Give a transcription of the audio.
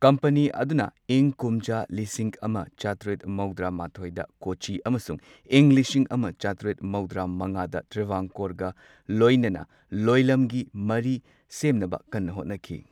Company ꯑꯗꯨꯅ ꯏꯪ ꯀꯨꯝꯖꯥ ꯂꯤꯁꯤꯡ ꯑꯃ ꯆꯥꯇ꯭ꯔꯦꯠ ꯃꯧꯗ꯭ꯔꯥ ꯃꯥꯊꯣꯏꯗ ꯀꯣꯆꯤ ꯑꯃꯁꯨꯡ ꯏꯪ ꯂꯤꯁꯤꯡ ꯑꯃ ꯆꯥꯇ꯭ꯔꯦꯠ ꯃꯧꯗ꯭ꯔꯥ ꯃꯉꯥꯗ ꯇ꯭ꯔꯥꯚꯥꯟꯀꯣꯔꯒ ꯂꯣꯏꯅꯅ ꯂꯣꯏꯂꯝꯒꯤ ꯃꯔꯤ ꯁꯦꯝꯅꯕ ꯀꯟꯅ ꯍꯣꯠꯅꯈꯤ꯫